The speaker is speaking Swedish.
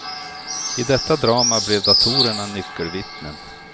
I detta drama blev datorerna nyckelvittnen.